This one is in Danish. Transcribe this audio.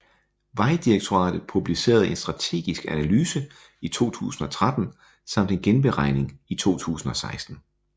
Vejdirektoratet publicerede en strategisk analyse i 2013 samt en genberegning i 2016